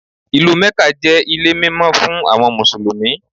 Ìlú Mẹ́kà jẹ́ ilé mímọ́ fún àwọn Mùsùlùmí.